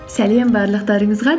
сәлем барлықтарыңызға